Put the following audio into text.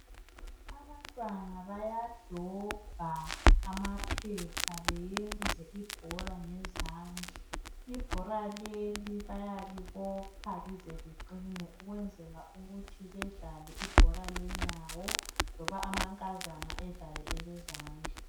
Abantwana bayadobha amaphepha beyenze ibhola ngezandla. Ibhola leli bayalibopha lize liqine ukwenzela ukuthi bedlale ibhola lenyawo loba amankazana adlale elezandla.